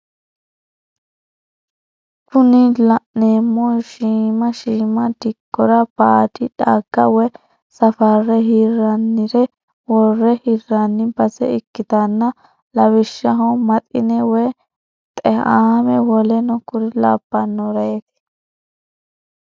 Kuni la'neemohu shiima shiima dikkora baadi dhagga woye safarre hirrannire worre hirranni base ikkitanna lawishshaho maxine woy xe"aame woleno kuri labbannoreeti.